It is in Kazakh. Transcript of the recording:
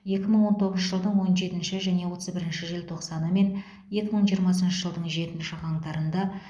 екі мың он тоғызыншы жылдың он жетінші және отыз бірінші желтоқсаны мен екі мың жиырмасыншы жылдың жетінші қаңтарында